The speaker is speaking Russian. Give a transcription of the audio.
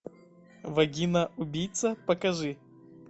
вагина убийца покажи